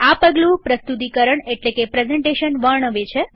આ પગલું પ્રસ્તુતિકરણ એટલેકે પ્રેઝન્ટેશન વર્ણવે છે